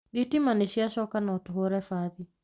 Thitima nĩ ciacoka, no tũhũre bathi